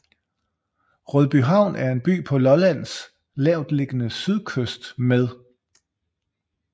Rødbyhavn er en by på Lollands lavtliggende sydkyst med